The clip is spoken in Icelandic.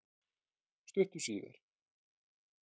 Stuttu síðar